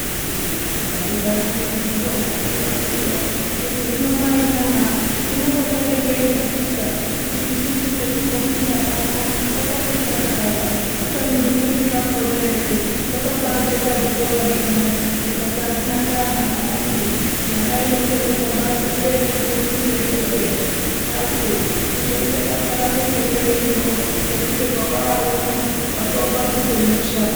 Ndaigara ndeibvunzwa kanyi kwanguyo khuti hino mai nana zvinombodayo ngeyi katika kuti isusu petinofunda pano pakati tsvatarara kubeni zvimweni zvakhona eree zvakabaajeka zvikora. Zvino ndikati azvina ndaa mwana wangu nyaya inondodiwa basi ngeyekuti ufunde iwewe upase uzoite basa rako ngemberiyo ngekuti kwawaari uno watoo padhuze nemushando.